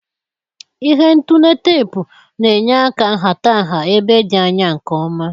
Ihe ntule teepu na-enye áká nhata nha ébé dị anya nke ọma.